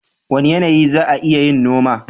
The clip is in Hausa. Wane yanayi za'a iya yin noma?